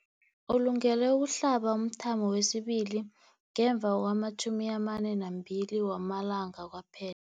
Ulungele ukuhlaba umthamo wesibili ngemva kwama-42 wama langa kwaphe